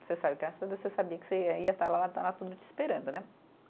Você sabe, graças a Deus, você sabia que você ia, ia estar lá, estar lá tudo te esperando, né?